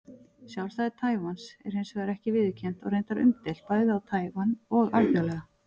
Sjálfstæði Taívans er hins vegar ekki viðurkennt og reyndar umdeilt, bæði á Taívan og alþjóðlega.